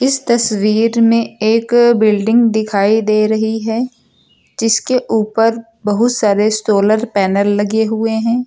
इस तस्वीर में एक बिल्डिंग दिखाई दे रही है जिसके ऊपर बहुत सारे सोलर पैनल लगे हुए हैं।